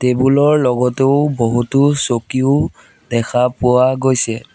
Table ৰ লগতেও বহুতো চকীও দেখা পোৱা গৈছে।